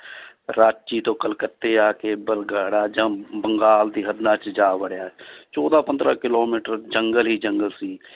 ਰਾਚੀ ਤੋਂ ਕਲਕੱਤੇ ਆ ਕੇ ਬਲਗਾੜਾ ਜਾਂ ਬੰਗਾਲ ਦੀ 'ਚ ਜਾ ਵੜਿਆ ਚੌਦਾਂ ਪੰਦਰਾਂ ਕਿੱਲੋਮੀਟਰ ਜੰਗਲ ਹੀ ਜੰਗਲ ਸੀ